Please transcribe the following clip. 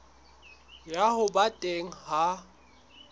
ya ho ba teng ha